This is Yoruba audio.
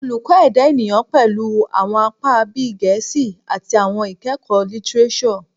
Oluko Eda Eniyan pẹlu awọn apa bii Gẹẹsi ati Awọn Ikẹkọ Litireso